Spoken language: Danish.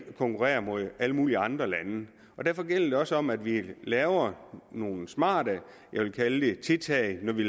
konkurrerer med alle mulige andre lande og derfor gælder det også om at vi laver nogle smarte jeg vil kalde det tiltag når vi